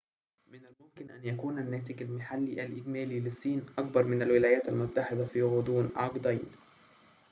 من الممكن أن يكون الناتج المحلي الإجمالي للصين أكبر من الولايات المتحدة في غضون عقدين